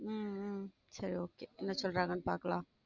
உம் உம் சரி okay என்ன சொல்லுராகனு பாக்கலாம்